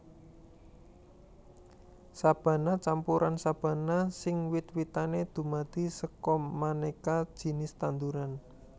Sabana campuran sabana sing wit witané dumadi saka manéka jinis tanduran